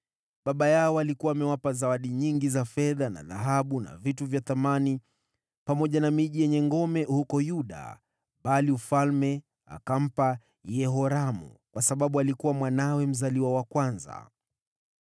Baba yao alikuwa amewapa zawadi nyingi za fedha na dhahabu na vitu vya thamani, pamoja na miji yenye ngome huko Yuda, bali ufalme akampa Yehoramu kwa sababu alikuwa mwanawe mzaliwa wa kwanza.